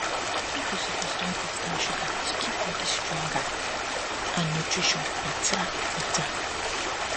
people suppose don cut down sugar to keep body stronger and nutrition better better